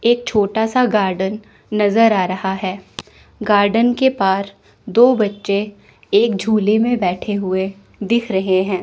एक छोटा सा गार्डन नजर आ रहा है गार्डन के पार दो बच्चे एक झूले में बैठे हुए दिख रहे हैं।